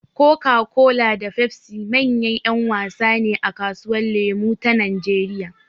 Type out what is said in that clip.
Coca-Cola da Pepsi manyan ‘yan wasa ne a kasuwar lemo ta Najeriya.